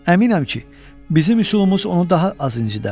Əminəm ki, bizim üsulumuz onu daha az incitərdi.